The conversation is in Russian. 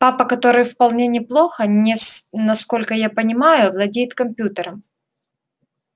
папа который вполне неплохо насколько я понимаю владеет компьютером